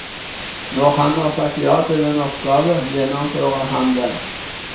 Når han har sagt ja til en oppgave, gjennomfører han den.